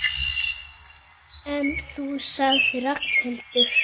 En þú sagði Ragnhildur.